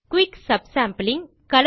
quick subsampling